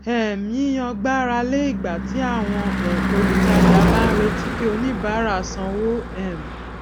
um yíyàn gbára lé ìgbà tí àwọn um olùtajà bá ń retí kí oníbárà sanwó um